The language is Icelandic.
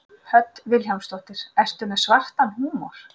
Hödd Vilhjálmsdóttir: Ertu með svartan húmor?